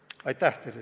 Aitäh teile!